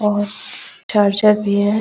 और चार्जर भी है ।